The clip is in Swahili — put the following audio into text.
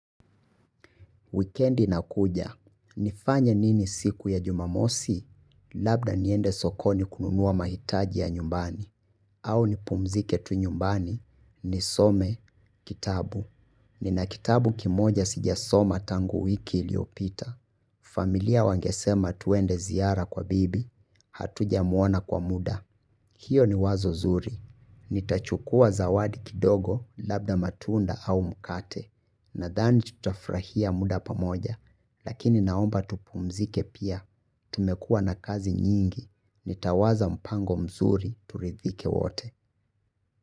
Wikendi inakuja, nifanye nini siku ya Jumamosi labda niende sokoni kununua mahitaji ya nyumbani au nipumzike tu nyumbani nisome kitabu. Nina kitabu kimoja sijasoma tangu wiki iliyopita. Familia wangesema tuende ziara kwa bibi, hatujamuona kwa muda. Hiyo ni wazo zuri, nitachukua zawadi kidogo labda matunda au mkate. Nadhani tutafurahia muda pamoja, lakini naomba tupumzike pia, tumekuwa na kazi nyingi, nitawaza mpango mzuri turidhike wote.